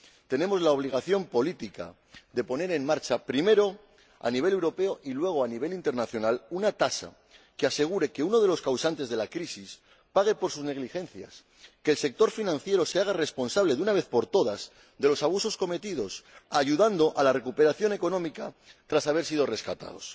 Tenemos la obligación política de poner en marcha —primero a nivel europeo y luego a nivel internacional— un impuesto que asegure que uno de los causantes de la crisis pague por sus negligencias, que el sector financiero se haga responsable de una vez por todas de los abusos cometidos, ayudando a la recuperación económica tras haber sido rescatado.